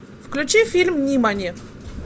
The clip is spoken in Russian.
включи фильм нимани